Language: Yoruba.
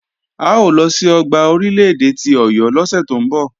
A ó lọ sí ọgbà Orílè-èdè ti Ọ̀yọ́ lọ́sẹ̀ tó ń bọ̀.